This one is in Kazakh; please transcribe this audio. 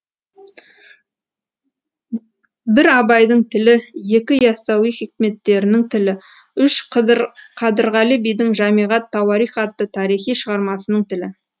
бір абайдың тілі екі яссауи хикметтерінің тілі үш қадырғали бидің жамиғат тауарих атты тарихы шығармасының тілі